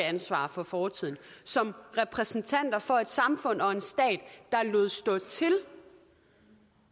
ansvar for fortiden som repræsentanter for et samfund og en stat der lod stå til